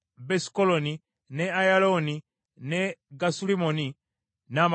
ne Ayalooni ne Gasulimmoni, n’amalundiro gaabyo.